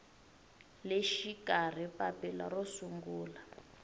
le xikarhi papila ro sungula